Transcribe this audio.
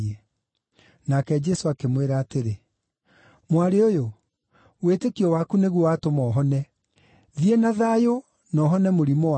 Nake Jesũ akĩmwĩra atĩrĩ, “Mwarĩ ũyũ, wĩtĩkio waku nĩguo watũma ũhone; thiĩ na thayũ na ũhone mũrimũ waku.”